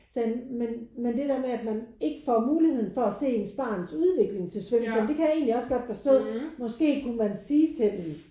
Så sagde han men men det der med at man ikke får muligheden for at se ens barns udvikling til svømning. Så sagde jeg ja men det kan jeg egentlig også godt forstå måske kunne man sige til dem